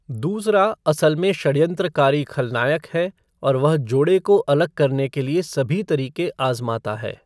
दूसरा असल में षड्यंत्रकारी खलनायक है और वह जोड़े को अलग करने के लिए सभी तरीक़े आज़माता है।